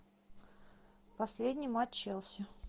последний матч челси